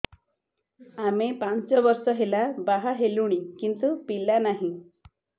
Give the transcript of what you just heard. ଆମେ ପାଞ୍ଚ ବର୍ଷ ହେଲା ବାହା ହେଲୁଣି କିନ୍ତୁ ପିଲା ନାହିଁ